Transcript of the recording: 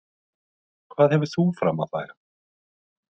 Hvað hefur þú fram að færa?